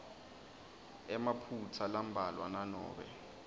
emaphutsa lambalwa nanobe